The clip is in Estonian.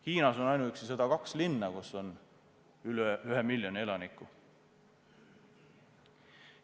Hiinas on ainuüksi 102 linna, kus on üle ühe miljoni elaniku.